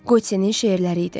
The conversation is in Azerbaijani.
Qotsenin şeirləri idi.